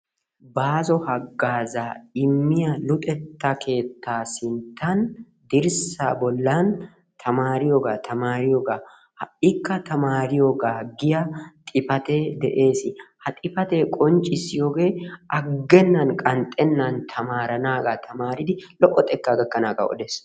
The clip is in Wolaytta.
Baasso hagaazaa immiya luxetta keettaa sinttan, dirsaa bolan Ha'iikka tamaariyoogaa giya xifatee de'ees. ha xifatee qonccisiyoge agenan tamaaranaagaa.